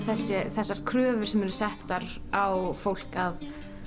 þessar kröfur sem eru settar á fólk að